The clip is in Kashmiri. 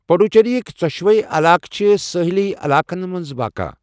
پڈوچیریٕک ژۄشوے علاقہٕ چھِ سٲحلی علاقن منٛز واقعہٕ۔